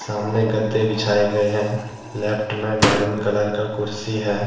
सामने गद्दे बिछाए गए हैं लेफ्ट में मैरून कलर का कुर्सी है।